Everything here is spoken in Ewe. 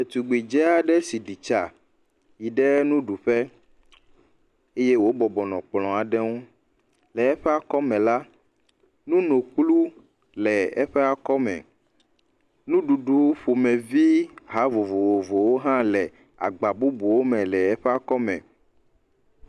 Ɖetugbi dze aɖe si ɖi tsa yi ɖe nuɖuƒe eye wo bɔbɔnɔ kplɔ aɖe ŋu. Le eƒe akɔ me la, nunokplɔ le eƒe akɔ me. Nuɖuɖu ƒomevi ha vovovowo hã le agba bubuwo me le eƒe akɔme.